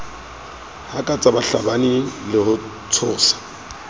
hakatsa bahlabani le ho tshosa